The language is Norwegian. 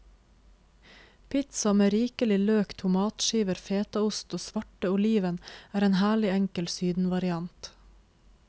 Pizza med rikelig løk, tomatskiver, fetaost og svarte oliven, er en herlig enkel sydenvariant.